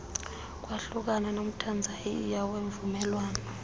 kwahlukana nomthanzaniya ngemvumelwano